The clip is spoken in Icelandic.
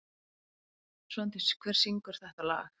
Svandís, hver syngur þetta lag?